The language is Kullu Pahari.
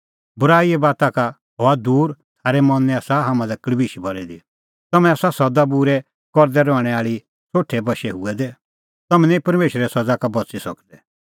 बूराईए बाता का हआ दूर थारै मनैं आसा हाम्हां लै कल़बिश भरी दी तम्हैं आसा सदा बूरै करदै रहणैं आल़ी सोठे बशै हुऐ दै तम्हैं निं परमेशरे सज़ा का बच़ी सकदै